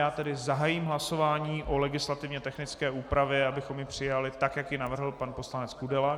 Já tedy zahájím hlasování o legislativně technické úpravě, abychom ji přijali tak, jak ji navrhl pan poslanec Kudela.